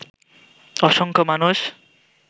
অসংখ্য মানুষ